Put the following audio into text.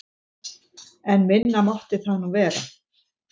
En minna mátti það nú vera.